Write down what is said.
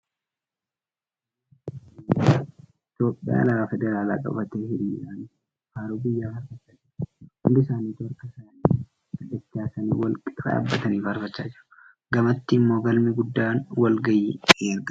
Raayyaan Ittisa biyyaa Itiyoophiyaa alaabaa federaalaa qabatee hiriiraan faarruu biyyaa faarfachaa jira. Hundi isaanituu harka isaanii gadi dachaasanii wal qixa dhaabbatanii faarfachaa jiru. Gamatti immoo galmi guddaan walga'ii ni argama.